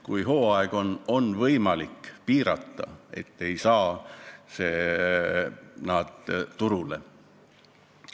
Kui on hooaeg, siis on võimalik piirata, et need ei saaks turule.